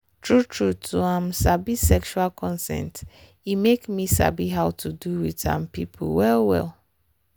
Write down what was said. true true to um sabi sexual consent e make me sabi how to do with um people well well.